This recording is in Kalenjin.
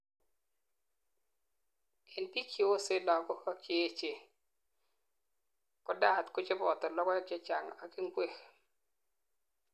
en biik cheyosen lagok ak cheechen, ko diet kocheboto logoek chechang ak ingwek